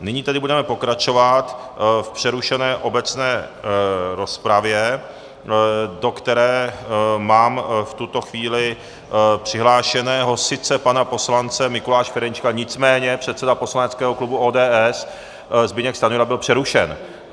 Nyní tedy budeme pokračovat v přerušené obecné rozpravě, do které mám v tuto chvíli přihlášeného sice pana poslance Mikuláše Ferjenčíka, nicméně předseda poslaneckého klubu ODS Zbyněk Stanjura byl přerušen.